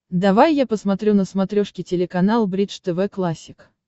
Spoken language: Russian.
давай я посмотрю на смотрешке телеканал бридж тв классик